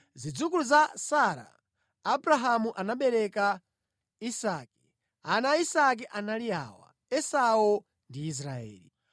Abrahamu anabereka Isake. Ana a Isake anali awa: Esau ndi Israeli.